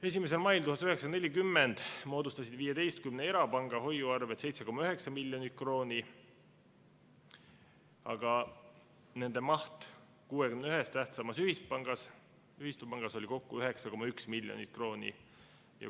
1. mail 1940 moodustasid 15 erapanga hoiuarved 7,9 miljonit krooni, aga nende maht 61 tähtsamas ühispangas oli kokku 9,1 miljonit krooni.